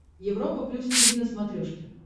европа плюс тиви на смотрешке